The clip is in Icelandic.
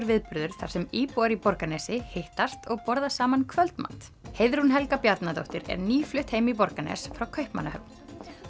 viðburður þar sem íbúar í Borgarnesi hittast og borða saman kvöldmat Heiðrún Helga Bjarnadóttir er nýflutt heim í Borgarnes frá Kaupmannahöfn